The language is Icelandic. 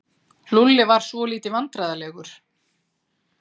Lúlli var svolítið vandræðalegur.